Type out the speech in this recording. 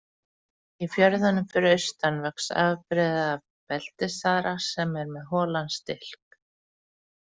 Í fjörðunum fyrir austan vex afbrigði af beltisþara sem er með holan stilk.